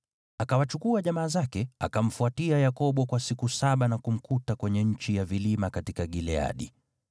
Akiwachukua jamaa zake, akamfuatia Yakobo kwa siku saba na kumkuta kwenye nchi ya vilima katika Gileadi.